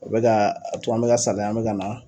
U bɛ ka to an bɛ saliya an bɛ ka na